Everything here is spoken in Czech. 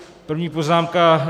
První poznámka.